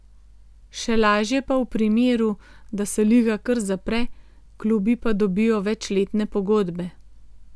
Še lažje pa v primeru, da se liga kar zapre, klubi pa dobijo večletne pogodbe.